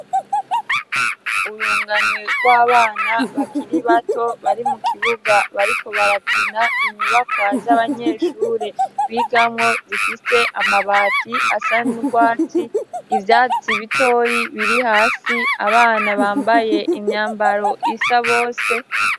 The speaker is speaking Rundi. Urunganwe rw'abana bakiri bato bari mu kibuga bariko barakina inyubakwa z'abanyeshure b'igamwo zifise amabati asanugwatsi, ivyatsi bitoye biri hasi abana bambaye imyambaro isa bose.